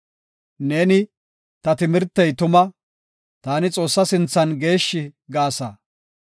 Neeni, ‘Ta timirtey tuma; taani Xoossaa sinthan geeshshi’ ” gaasa.